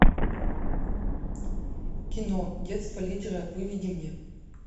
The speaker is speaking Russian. кино детство лидера выведи мне